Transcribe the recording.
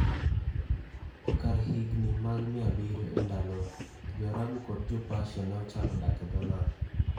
E kar higini mag 700 E Ndalowa, Jo-Arabu kod Jo-Persia ne ochako dak e dho nam.